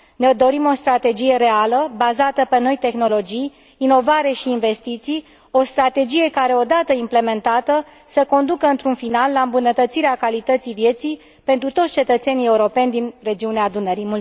Ne dorim o strategie reală, bazată pe noi tehnologii, inovare și investiții, o strategie care, odată implementată, să conducă într un final la îmbunătățirea calității vieții pentru toți cetățenii europeni din regiunea Dunării.